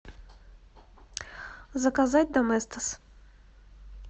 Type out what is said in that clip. заказать доместос